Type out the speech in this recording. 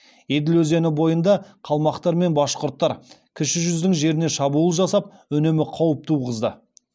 еділ өзені бойында қалмақтар мен башқұрттар кіші жүздің жеріне шабуыл жасап үнемі қауіп туғызды